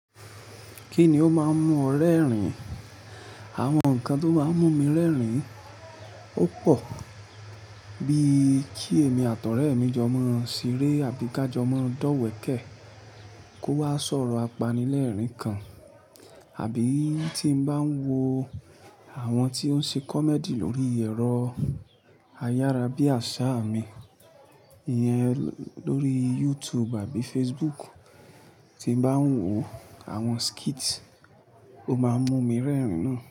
Kí ni ó máa ń mú ọ rẹ́rìn-ín? Awọn nkan tó máa ń mú mi rẹ́rìn-ín ó pọ̀, bí i kí èmi àtọ̀rẹ́ ẹ mi jọ mọ́ seré àbí ká jọ mọ́ra dọ́wẹ̀kẹ̀ kó wá sọ̀rọ̀ apanilẹ́rìn-ín kan, àbí tí n bá ń wo àwọn tí ó ń ṣe comedy lórí ẹ̀rọ ayárabíàṣá mi, ìyẹn lórí YouTube àbí Facebook tí n bá ń wo àwọn skits, ó máa ń mú mi rẹ́rìn-ín ná.